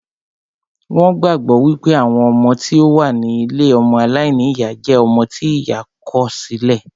Wón gbàgbọ́ wípé àwọn ọmọ tí ó wà ní ilée ọmọ aláìníyá jẹ́ ọmọ tí ìyá kọ̀ sí lẹ̀